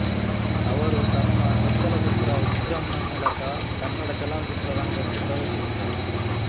ಅವರು ತಮ್ಮ ಚೊಚ್ಚಲ ಚಿತ್ರ ಉಗ್ರಂನ ಮೂಲಕ ಕನ್ನಡ ಚಲನಚಿತ್ರರಂಗಕ್ಕೆ ಪ್ರವೇಶಿಸಿದರು